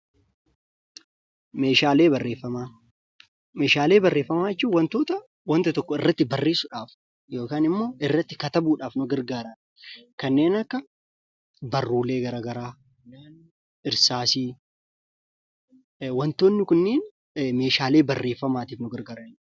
Meeshaalee barreeffamaa. Meeshaalee barreeffamaa jechuun waantoota wanta tokko irratti barressuudhaaf yookaan immoo irratti katabuudhaaf nuu gargaraan kannen akka barrulee gara garaa, Hirsassii waantonni kunnen meeshaalee barrefamattiif nuu gargaraniidha.